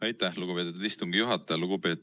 Aitäh, lugupeetud istungi juhataja!